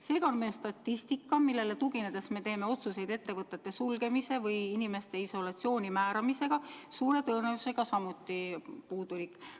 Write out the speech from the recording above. Seega on meie statistika, millele tuginedes me teeme otsuseid ettevõtete sulgemise või inimeste isolatsiooni määramise kohta, suure tõenäosusega samuti puudulik.